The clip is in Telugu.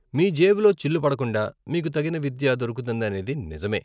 మీ జేబులో చిల్లు పడకుండా మీకు తగిన విద్య దొరుకుతుందనేది నిజమే.